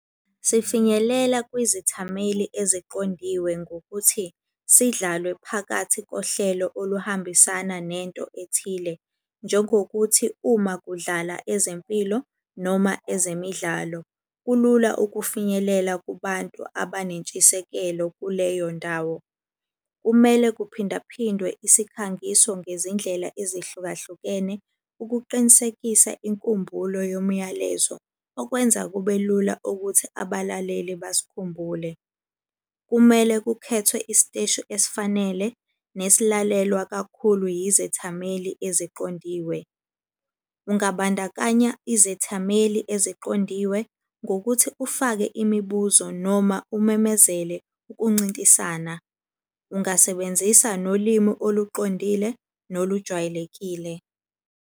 Sifinyelela kwizithameli eziqondiwe ngokuthi sidlalwe phakathi kohlelo oluhambisana nento ethile, njengokuthi uma kudlala ezempilo noma ezemidlalo, kulula ukufinyelela kubantu abanentshisekelo kuleyo ndawo. Kumele kuphinda phindwe isikhangiso ngezindlela ezihlukahlukene ukuqinisekisa inkumbulo yomuyalezo, okwenza kube lula ukuthi abalaleli basikhumbule. Kumele kukhethwe isiteshi esifanele nesilalelwa kakhulu izethameli eziqondiwe. Ungabandakanya izethameli eziqondiwe ngokuthi ufake imibuzo, noma umemezele ukuncintisana. Ungasebenzisa nolimi oluqondile nolujwayelekile.